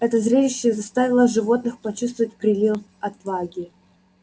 это зрелище заставило животных почувствовать прилив отваги